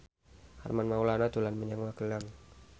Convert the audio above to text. Armand Maulana dolan menyang Magelang